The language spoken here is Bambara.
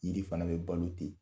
Yiri fana bɛ balo ten.